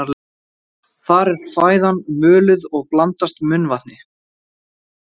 Þar er fæðan möluð og blandast munnvatni.